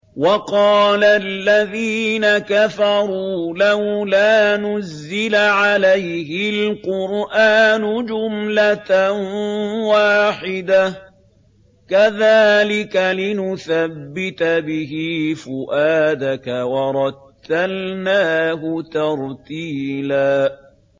وَقَالَ الَّذِينَ كَفَرُوا لَوْلَا نُزِّلَ عَلَيْهِ الْقُرْآنُ جُمْلَةً وَاحِدَةً ۚ كَذَٰلِكَ لِنُثَبِّتَ بِهِ فُؤَادَكَ ۖ وَرَتَّلْنَاهُ تَرْتِيلًا